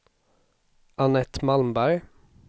Annette Malmberg